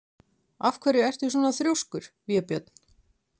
Af hverju ertu svona þrjóskur, Vébjörn?